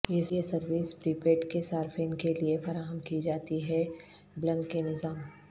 یہ service prepaid کے صارفین کے لئے فراہم کی جاتی ہے بلنگ کے نظام